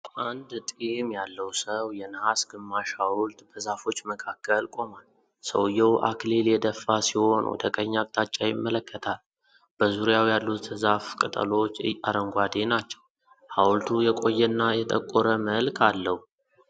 የአንድ ጢም ያለው ሰው የነሐስ ግማሽ ሐውልት በዛፎች መካከል ቆሟል። ሰውዬው አክሊል የደፋ ሲሆን፣ ወደ ቀኝ አቅጣጫ ይመለከታል። በዙሪያው ያሉት የዛፍ ቅጠሎች አረንጓዴ ናቸው፣ ሐውልቱ የቆየና የጠቆረ መልክ አለው።